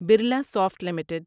Birla soft limited